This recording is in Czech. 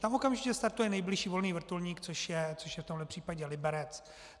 Tam okamžitě startuje nejbližší volný vrtulník, což je v tomhle případě Liberec.